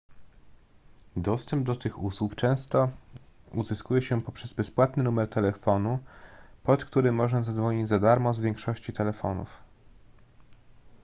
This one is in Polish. dostęp do tych usług często uzyskuje się poprzez bezpłatny numer telefonu pod który można zadzwonić za darmo z większości telefonów